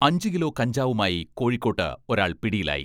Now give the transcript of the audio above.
അഞ്ച് കിലോ കഞ്ചാവുമായി കോഴിക്കോട്ട് ഒരാൾ പിടിയിലായി.